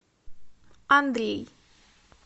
андрей